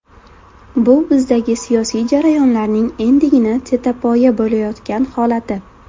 Bu bizdagi siyosiy jarayonlarning endigina tetapoya bo‘layotgan holati.